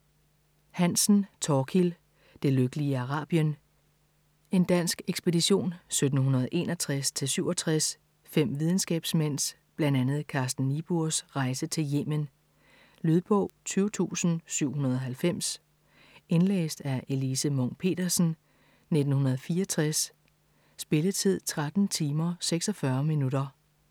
Hansen, Thorkild: Det lykkelige Arabien En dansk ekspedition 1761-67. 5 videnskabsmænds, bl.a. Carsten Niebuhrs, rejse til Yemen. Lydbog 20790 Indlæst af Elise Munch-Petersen, 1964. Spilletid: 13 timer, 46 minutter.